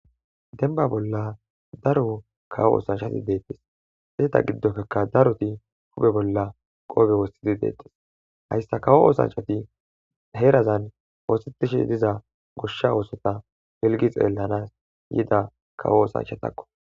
denba bolla daro kawo oosanchati deettis heeta giddofekka daroti hupe bolla qoobe wossidi deettis hayssa kawo oosanchati heerazan woositishi diza goshsha oosota helgi xeellanas yida kawo oosanchatakko